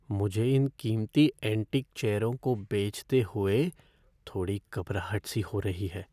मुझे इन कीमती एंटीक चेयरों को बेचते हुए थोड़ी घबराहट सी हो रही है।